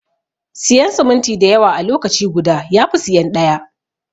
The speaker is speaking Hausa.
Siyan siminti dayawa a lokaci guda yafi siyan ɗaya.